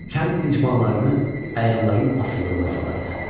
Kənd icmalarını əyanların asılılığına salırdı.